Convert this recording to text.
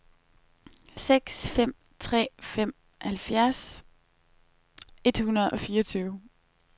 seks fem tre fem halvfjerds et hundrede og fireogtyve